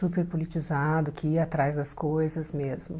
Super politizado, que ia atrás das coisas mesmo.